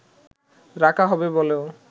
রাখা হবে বলেও